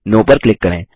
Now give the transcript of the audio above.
no पर click करें